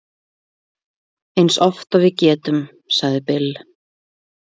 Eins oft og við getum, sagði Bill.